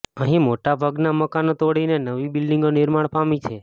અહીં મોટાભાગના મકાનો તોડીને નવી બિલ્ડીંગો નિર્માણ પામી છે